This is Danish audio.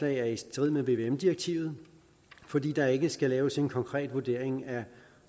er i strid med vvm direktivet fordi der ikke skal laves en konkret vurdering af